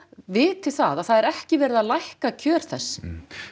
viti það að það er ekki verið að lækka kjör þess